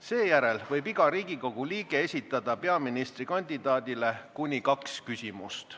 Seejärel võib iga Riigikogu liige esitada peaministrikandidaadile kuni kaks küsimust.